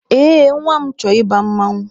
Ee, nwa m chọrọ ịba mmanwụ.